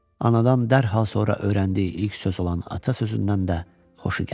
Anadan dərhal sonra öyrəndiyi ilk söz olan ata sözündən də xoşu gəlirdi.